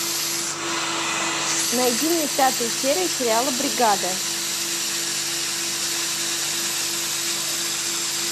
найди мне пятую серию сериала бригада